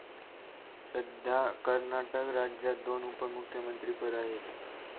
सद्या कर्नाटक राज्यात दोन उपमुख्यमंत्रीपद आहेत.